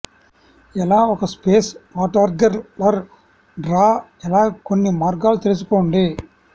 ఎలా ఒక space watercolour draw ఎలా కొన్ని మార్గాలు తెలుసుకోండి